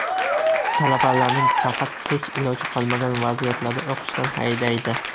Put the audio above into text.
Talabalarni faqat hech iloji qolmagan vaziyatlarda o‘qishdan haydaydi.